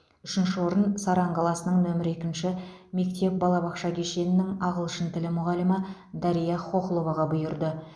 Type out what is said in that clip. үшінші орын саран қаласының нөмірі екінші мектеп балабақша кешенінің ағылшын тілі мұғалімі дарья хохловаға бұйырды